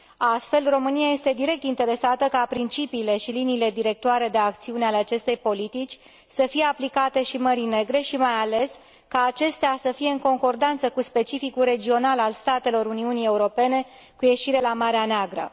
Astfel, România este direct interesată ca principiile și liniile directoare de acțiune ale acestei politici să fie aplicate și Mării Negre și, mai ales, ca acestea să fie în concordanță cu specificul regional al statelor Uniunii Europene cu ieșire la Marea Neagră.